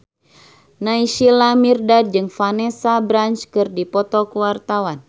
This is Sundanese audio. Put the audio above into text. Naysila Mirdad jeung Vanessa Branch keur dipoto ku wartawan